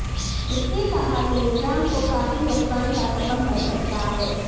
اس نے کہا کہ نظام کو کافی نقصان کا سبب بن سکتا ہے